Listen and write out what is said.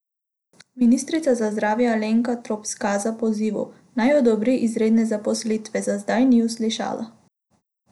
Ministrica za zdravje Alenka Trop Skaza pozivov, naj odobri izredne zaposlitve, za zdaj ni uslišala.